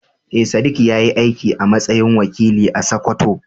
Eh, Sadiq ya yi aiki a matsayin wakili a Sakkwato.